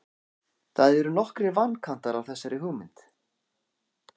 það eru nokkrir vankantar á þessari hugmynd